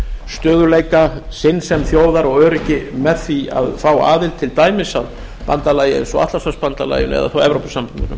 stöðugleika sinn sem þjóðar og öryggi með því að fá aðild til dæmis að bandalagi eins og atlantshafsbandalaginu eða þá evrópusambandinu